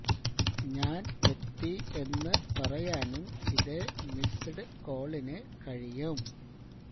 ഞാന് എത്തി എന്ന് പറയാനും ഇതേ മിസ്ഡ് കോളിന് കഴിയും